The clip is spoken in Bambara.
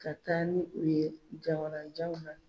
Ka taa ni u ye jamananw na